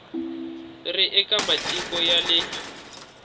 ri eka matiko ya le